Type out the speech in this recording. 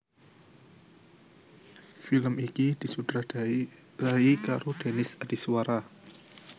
Film iki disutradarai karo Denis Adiswara